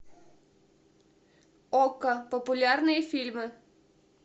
окко популярные фильмы